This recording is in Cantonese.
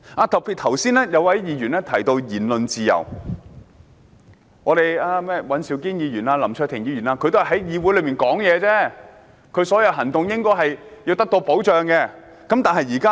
剛才有一位議員提到言論自由，說尹兆堅議員和林卓廷議員只是在議會內發言，他們的行動應該得到保障。